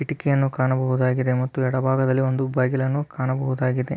ಕಿಟಕಿಯನ್ನು ಕಾಣಬಹುದಾಗಿದೆ ಮತ್ತು ಎಡಭಾಗದಲ್ಲಿ ಒಂದು ಬಾಗಿಲನ್ನು ಕಾಣಬಹುದಾಗಿದೆ.